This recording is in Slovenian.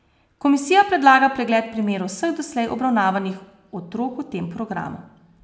Komisija predlaga pregled primerov vseh doslej obravnavanih otrok v tem programu.